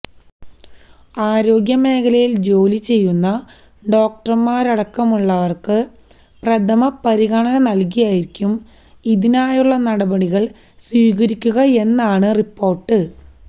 ആരോഗ്യ മേഖലയില് ജോലി ചെയ്യുന്ന ഡോക്ടര്മാരടക്കമുള്ളവര്ക്ക് പ്രഥമ പരിഗണന നല്കിയായിരിക്കും ഇതിനായുള്ള നടപടികള് സ്വീകരിക്കുകയെന്നാണ് റിപ്പോര്ട്ട്